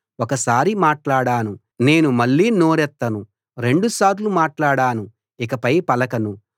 ఒక సారి మాట్లాడాను నేను మళ్ళీ నోరెత్తను రెండు సార్లు మాట్లాడాను ఇకపై పలకను